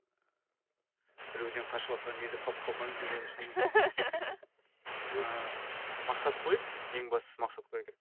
біреуден қашыватқан кезде қалып қалмайын деу үшін ііі мақсат қойып ең бастысы мақсат қою керек